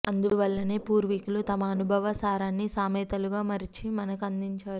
అందువల్లనే పూర్వీకులు తమ అనుభవ సారాన్ని సామెతలుగా మలచి మనకి అందించారు